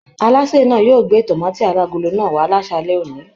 Alásè náà yóò gbé tomaati alagolo náà wà lasalẹ̀ òní.